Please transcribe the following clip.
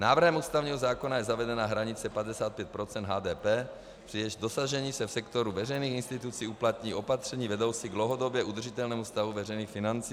Návrhem ústavního zákona je zavedena hranice 55 % HDP, při jejímž dosažení se v sektoru veřejných institucí uplatní opatření vedoucí k dlouhodobě udržitelnému stavu veřejných financí.